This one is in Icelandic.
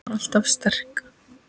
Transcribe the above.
Var alltaf sterk.